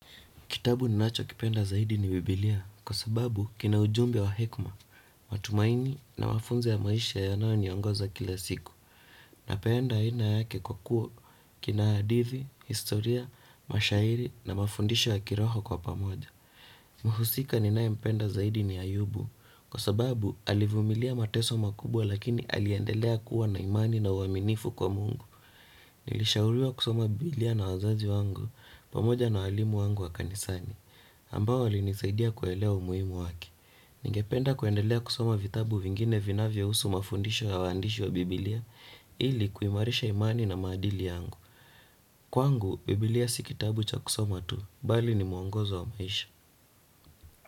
Kitabu ninacho kipenda zaidi ni bibilia kwa sababu kina ujumbe wa hekima, matumaini na mafunzo ya maisha yanayo niongoza kila siku. Napenda aina yake kwa kuwa kina hadithi, historia, mashairi na mafundisho ya kiroho kwa pamoja. Muhusika ninaye mpenda zaidi ni ayubu kwa sababu alivumilia mateso makubwa lakini aliendelea kuwa na imani na uaminifu kwa mungu. Nilishauriwa kusoma bibilia na wazazi wangu pamoja na walimu wangu wakanisani ambao walinisaidia kuelewa umuhimu wake. Ningependa kuendelea kusoma vitabu vingine vinavyo husu mafundisho ya uandishi wa bibilia ili kuimarisha imani na maadili yangu. Kwangu, bibilia si kitabu cha kusoma tu, bali ni muongozo wa maisha.